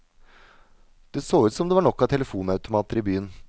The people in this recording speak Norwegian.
Det så ut som om det var nok av telefonautomater i byen.